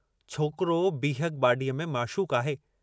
छोकरो बीहक बाडीअ में माशूक आहे।